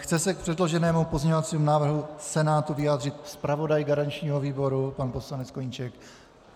Chce se k předloženému pozměňovacímu návrhu Senátu vyjádřit zpravodaj garančního výboru pan poslanec Koníček?